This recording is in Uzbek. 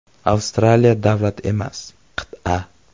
“Avstraliya davlat emas, qit’a.